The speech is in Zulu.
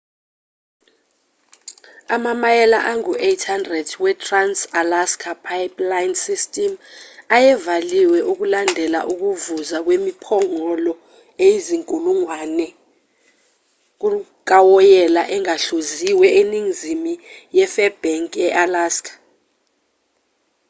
amamayela angu-800 wetrans-alaska pipeline system ayevaliwe ukulandela ukuvuza kwemiphongolo eyizinkulungwane kawoyela ongahluziwe eningizimu yefairbanks e-alaska